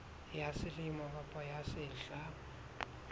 ya selemo kapa ya sehla